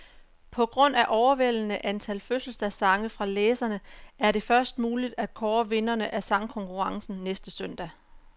På grund af overvældende antal fødselsdagssange fra læserne, er det først muligt at kåre vinderne af sangkonkurrencen næste søndag.